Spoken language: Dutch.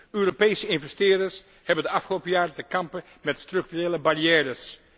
Europese investeerders hebben de afgelopen jaren te kampen met structurele barrières.